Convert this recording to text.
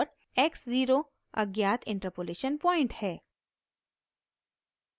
x 0 अज्ञात interpolation point है